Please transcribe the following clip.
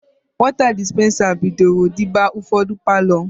Wọta dispensa bidoro dịba n'ụfọdụ palọ.